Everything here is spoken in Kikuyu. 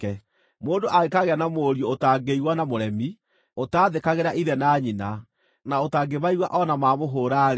Mũndũ angĩkaagĩa na mũriũ ũtangĩigua na mũremi, ũtaathĩkagĩra ithe na nyina, na ũtangĩmaigua o na mamũhũũra-rĩ,